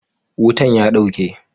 Wutan ya dauke.